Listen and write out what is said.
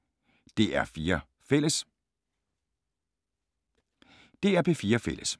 DR P4 Fælles